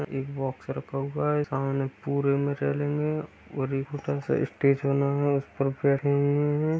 एक बॉक्स रखा हुआ है। सामने पूरे में फैले हुए और एक छोटा सा स्टेज बना हुआ उस पर बैठे हुए हैं।